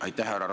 Aitäh!